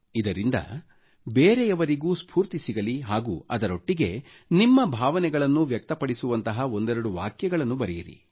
ಇದರಿಂದ ಬೇರೆಯವರಿಗೂ ಸ್ಫೂರ್ತಿ ಸಿಗಲಿ ಹಾಗೂ ಅದರೊಟ್ಟಿಗೆ ನಿಮ್ಮ ಭಾವನೆಗಳನ್ನು ವ್ಯಕ್ತಪಡಿಸುವಂತಹ ಒಂದೆರಡು ವಾಕ್ಯಗಳನ್ನೂ ಬರೆಯಿರಿ